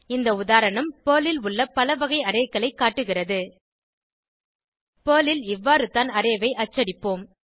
இந்த உதாரணம் பெர்ல் ல் உள்ள பல வகை arrayகளை காட்டுகிறது பெர்ல் ல் இவ்வாறுதான் அரே ஐ அச்சடிப்போம்